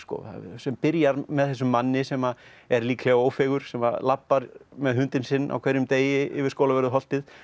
sem byrjar með þessum manni sem er líklega Ófeigur sem labbar með hundinn sinn á hverjum degi yfir Skólavörðuholtið